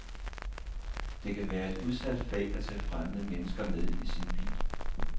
Det kan være et udsat fag at tage fremmede mennesker med i sin bil.